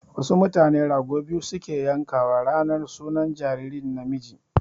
Wasu mutane rago biyu su ke yanka wa ranar sunan jariri namiji